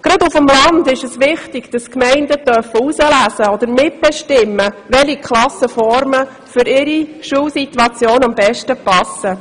Gerade auf dem Land ist es wichtig, dass die Gemeinden auswählen oder mitbestimmen können, welche Klassenformen für ihre Schulsituation am besten passen.